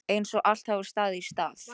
Einsog allt hafi staðið í stað.